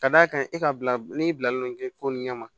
Ka d'a kan e ka bila ne bilalen kɛ ko nin ɲɛ ma